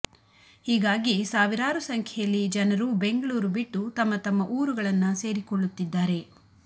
ಹೀಗಾಗಿ ಸಾವಿರಾರು ಸಂಖ್ಯೆಯಲ್ಲಿ ಜನರು ಬೆಂಗಳೂರು ಬಿಟ್ಟು ತಮ್ಮ ತಮ್ಮ ಊರುಗಳನ್ನ ಸೇರಿಕೊಳ್ಳುತ್ತಿದ್ದಾರೆ